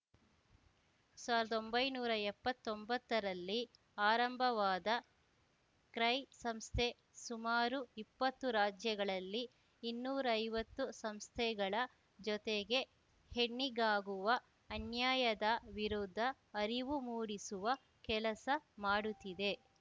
ಸಾವಿರ್ದೊಂಬೈನೂರಾ ಎಪ್ಪತ್ತೊಂಬತ್ತರಲ್ಲಿ ಆರಂಭವಾದ ಕ್ರೈ ಸಂಸ್ಥೆ ಸುಮಾರು ಇಪ್ಪತ್ತು ರಾಜ್ಯಗಳಲ್ಲಿ ಇನ್ನೂರೈವತ್ತು ಸಂಸ್ಥೆಗಳ ಜೊತೆಗೆ ಹೆಣ್ಣಿಗಾಗುವ ಅನ್ಯಾಯದ ವಿರುದ್ಧ ಅರಿವು ಮೂಡಿಸುವ ಕೆಲಸ ಮಾಡುತ್ತಿದೆ